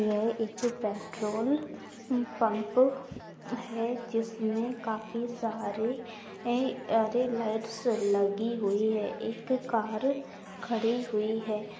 यह एक petrol pump है जिसमें काफी सारे एं अरे लाइट्स लगी हुई है एक कार खड़ी हुई है।